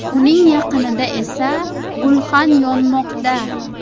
Uning yaqinida esa gulxan yonmoqda.